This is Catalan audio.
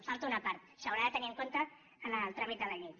hi falta una part s’haurà de tenir en compte en el tràmit de la llei